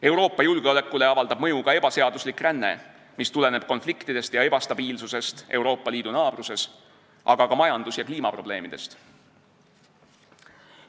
Euroopa julgeolekule avaldab mõju ebaseaduslik ränne, mis tuleneb konfliktidest ja ebastabiilsusest Euroopa Liidu naabruses, aga ka majandus- ja kliimaprobleemidest.